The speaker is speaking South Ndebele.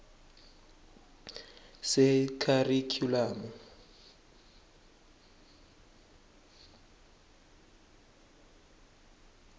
sekharikhyulamu